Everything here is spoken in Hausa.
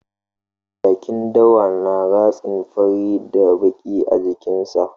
Jakin dawa na ratsin fari da baƙi a jikin sa